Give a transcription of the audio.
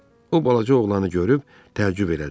O balaca oğlanı görüb təəccüb elədi.